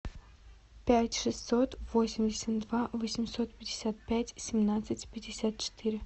пять шестьсот восемьдесят два восемьсот пятьдесят пять семнадцать пятьдесят четыре